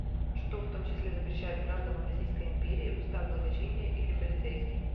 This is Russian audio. что в том числе запрещает гражданам российской империи устав благочиния или полицейский